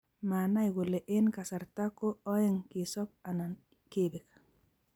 Manai kole eng kasarata ko oeng kesob anan kebek